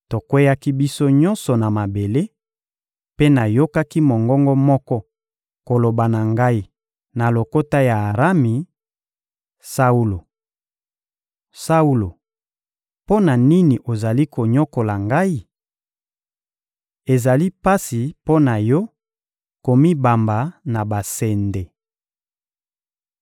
Tokweyaki biso nyonso na mabele, mpe nayokaki mongongo moko koloba na ngai na lokota ya Arami: «Saulo, Saulo, mpo na nini ozali konyokola Ngai? Ezali pasi mpo na yo komibamba na basende.»